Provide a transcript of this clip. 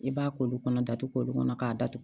I b'a ko olu kɔnɔ datugu kɔnɔ k'a datugu